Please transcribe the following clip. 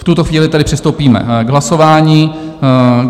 V tuto chvíli tedy přistoupíme k hlasování.